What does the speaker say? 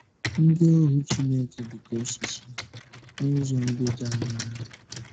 Ndị Ohu Chineke Dị Ka Osisi — N’ụzọ Ndị Dị Aṅaa